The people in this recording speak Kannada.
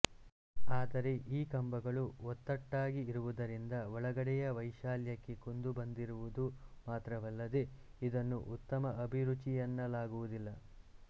ಆದರೆ ಈ ಕಂಬಗಳು ಒತ್ತಟ್ಟಾಗಿ ಇರುವುದರಿಂದ ಒಳಗಡೆಯ ವೈಶಾಲ್ಯಕ್ಕೆ ಕುಂದು ಬಂದಿರುವುದು ಮಾತ್ರವಲ್ಲದೆ ಇದನ್ನು ಉತ್ತಮ ಅಭಿರುಚಿಯೆನ್ನಲಾಗುವುದಿಲ್ಲ